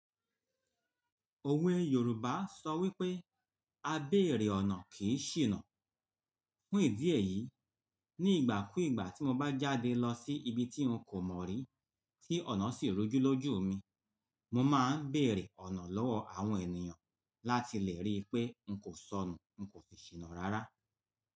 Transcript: Òwe Yorùbá sọ wípé "A beere ọ̀nà kì í ṣìnà". Fún ìdí èyí, ní ìgbà kú ìgbà tí mo bá jáde lọ sí ibi tí ǹ kò mọ̀ rí, tí ọ̀nà sì rújú lójú mi, mo máa ń bèèrè ọ̀nà lọ́wọ́ àwọn ènìyàn láti lè rí pé ǹ kò sọnù, ǹ kò si ṣìnà rárá.